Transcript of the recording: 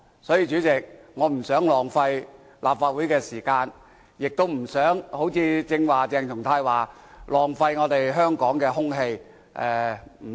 所以，主席，我不想浪費立法會的時間，亦不想好像鄭松泰議員剛才說那樣，浪費香港的空氣。